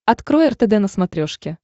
открой ртд на смотрешке